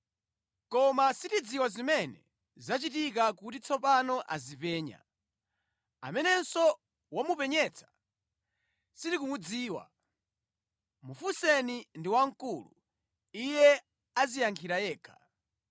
Koma sitidziwa zimene zachitika kuti tsopano azipenya. Amenenso wamupenyetsa sitikumudziwa. Mufunseni ndi wamkulu; iye adziyankhira yekha.”